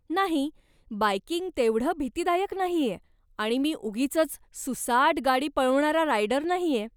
नाही, बायकिंग तेवढं भीतीदायक नाहीये आणि मी उगीचच सूसाट गाडी पळवणारा रायडर नाहीये.